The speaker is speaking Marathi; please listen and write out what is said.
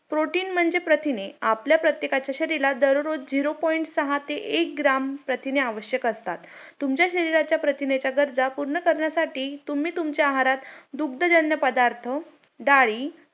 Protein म्हणजे प्रथिने आपल्या प्रत्येकाच्या शरीरात दररोज Zero Point सहा ते एक ग्राम प्रथिने आवश्यक असतात तुमच्या शरीराच्या प्रथिनेच्या गरजा पूर्ण करण्यासाठी तुम्ही तुमच्या आहारात दुग्धजन्य पदार्थ डाळी